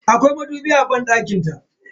Akwai madubi a banɗakin ta.